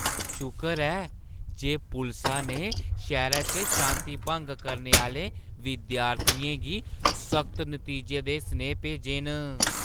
शुकर ऐ जे पुलसा ने शैह्‌रा च शांति भंग करने आह्‌ले विद्यार्थियें गी सख्त नतीजें दे सनेहे भेजे न।